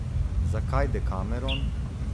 Zakaj Dekameron?